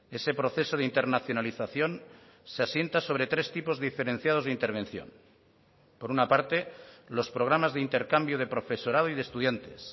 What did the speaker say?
ese proceso de internacionalización se asienta sobre tres tipos diferenciados de intervención por una parte los programas de intercambio de profesorado y de estudiantes